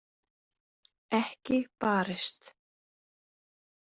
Ekki barist.